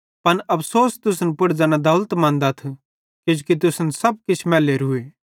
पन अफ़सोस तुसन पुड़ ज़ैना दौलतमन्दथ किजोकि तुसन सब किछ मैलेरूए